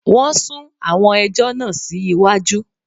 Wọn sún àwọn ẹjọ́ náà sí iwájú